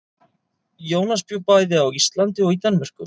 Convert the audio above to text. Jónas bjó bæði á Íslandi og í Danmörku.